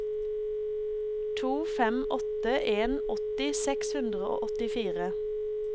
to fem åtte en åtti seks hundre og åttifire